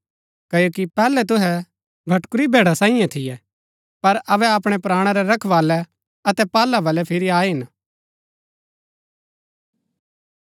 क्ओकि पैहलै तुहै भटकुरी भैड़ा सांईये थियै पर अबै अपणै प्राणा रै रखवाळै अतै पाहला बलै फिरी आये हिन